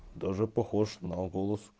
даже похож на голос